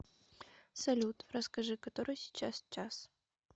салют расскажи который сейчас час